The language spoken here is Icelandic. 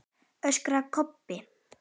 öskraði Kobbi.